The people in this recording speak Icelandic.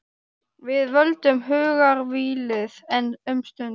Við völdum hugarvílið, enn um stund.